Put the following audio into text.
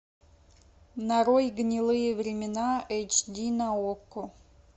нарой гнилые времена эйч ди на окко